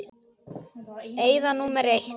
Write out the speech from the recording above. Eyða númer eitt.